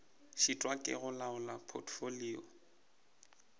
šitwa ke go laola potfolio